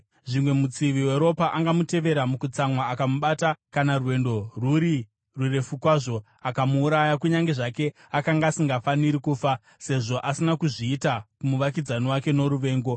Zvimwe, mutsivi weropa angamutevera mukutsamwa, akamubata kana rwendo rwuri rurefu kwazvo, akamuuraya kunyange zvake akanga asingafaniri kufa, sezvo asina kuzviita kumuvakidzani wake noruvengo.